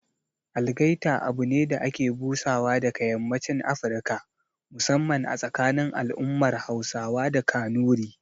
Algaita abune da ake busawa daga yammacin Afirka, musamman a tsakanin al'ummar Hausawa da Kanuri